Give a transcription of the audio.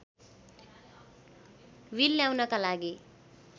bill ल्याउनका लागि